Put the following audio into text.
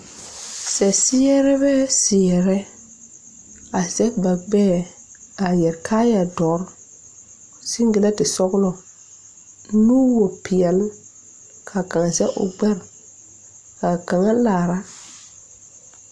Sɛrebɛ seɛrɛ a zege ba gbɛɛ a yɛre kaayɛ dɔre sengilɛnte sɔglɔ nuwopeɛle kaa kaŋ zege o gbɛre kaa kaŋa laara.